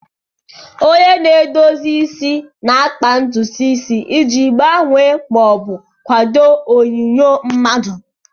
Onye na-edozi isi na-akpa ntutu isi iji gbanwee ma ọ bụ kwadoo onyinyo mmadụ.